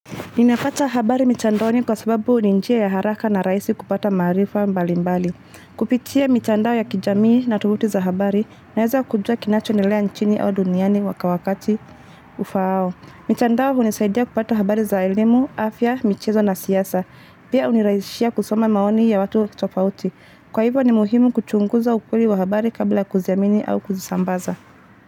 Ninapata habari mitandaoni kwa sababu ni njia ya haraka na rahisi kupata marifa mbali mbali. Kupitia mitandao ya kijamii na tovuti za habari naweza kujua kinachendelea nchini au duniani kwa wakati ufaao. Mitandao hunisaidia kupata habari za elimu, afya, michezo na siasa. Pia hunirahisishia kusoma maoni ya watu tofauti. Kwa hivyo ni muhimu kuchunguza ukweli wa habari kabla kuziamini au kuzisambaza.